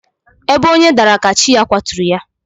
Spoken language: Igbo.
Ebe onye dara ka chi ya kwaturu ya.